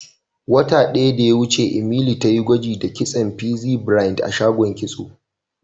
Wata daya da ya wuce, Emily ta yi gwaji da kitson pixie braid a shagon kitso.